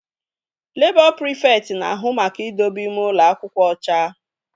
Labọ prịfekt na-ahụ maka idobe ime ụlọ akwụkwọ ọcha